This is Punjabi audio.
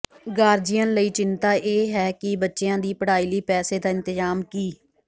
ਗਾਰਜੀਅਨ ਲਈ ਚਿੰਤਾ ਇਹ ਹੈ ਕਿ ਬੱਚਿਆਂ ਦੀ ਪੜ੍ਹਾਈ ਲਈ ਪੈਸੇ ਦਾ ਇੰਤਜ਼ਾਮ ਕਿ